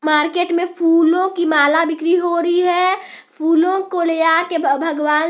market में फूलों की माला बिक्री हो रही है फूलों को ले जा के भगवान--